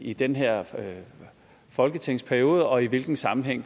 i den her folketingsperiode og i hvilken sammenhæng